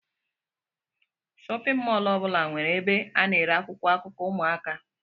Shóppin mol ọbula nwere ebe ana ere akwụkwọ akụkọ ụmụaka.